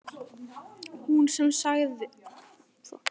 Hún sem hafði ekki fórnað öðru en allri ævi sinni.